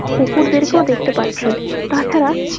কুকুরদেরকেও দেখতে পাচ্ছি তাছাড়া--